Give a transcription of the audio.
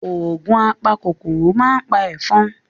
Ògùn apa kòkòrò ma pa ẹ̀fọn.